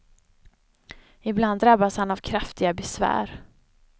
Ibland drabbas han av kraftiga besvär.